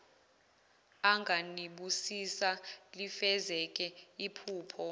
anganibusisa lifezeke iphupho